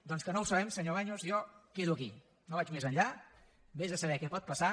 doncs com que no ho sabem senyor baños jo quedo aquí no vaig més enllà vés a saber què pot passar